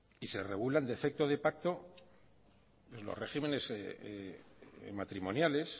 y se regulan defecto de pacto en los regímenes matrimoniales